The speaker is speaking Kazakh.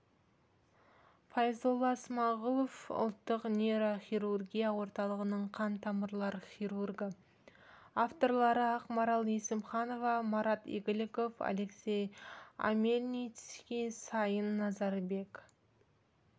файзолла смағұлов ұлттық нейрохирургия орталығының қан-тамырлар хирургі авторлары ақмарал есімханова марат игіліков алексей омельницкий сайын назарбек